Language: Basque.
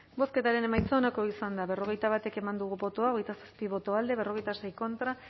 bozketaren emaitza onako izan da berrogeita bat eman dugu bozka hogeita zazpi boto alde cuarenta y seis contra